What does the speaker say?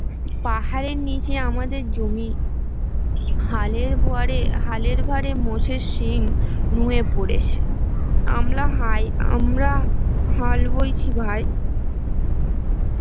পাহাড়ের নীচে আমাদের জমি হালের ভয়ারে হালের ভারে মোষের সিং নুয়ে পড়েছে আমলা হায় আমরা হাল বইছি ভাই